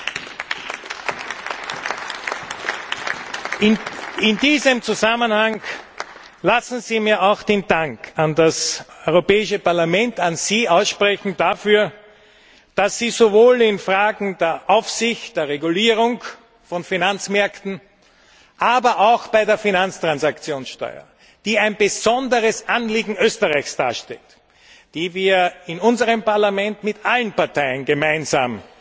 Lassen Sie mich in diesem Zusammenhang auch meinen Dank an das Europäische Parlament, an Sie, dafür aussprechen, dass Sie sowohl in Fragen der Aufsicht, der Regulierung von Finanzmärkten, als auch bei der Finanztransaktionssteuer, die ein besonderes Anliegen Österreichs darstellt, für das wir in unserem Parlament mit allen Parteien gemeinsam